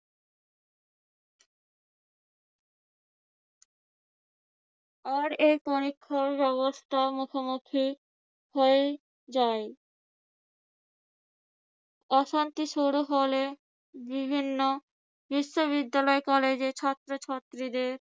আর এই পরীক্ষাব্যবস্থার মুখোমুখি হয়েই যায়। অশান্তি শুরু হলে বিভিন্ন বিশ্ববিদ্যালয় কলেজের ছাত্রছাত্রীদের